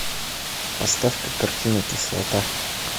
поставь ка картину кислота